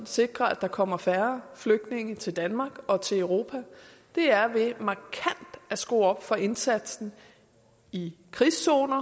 sikre at der kommer færre flygtninge til danmark og til europa på er ved markant at skrue op for indsatsen i krigszoner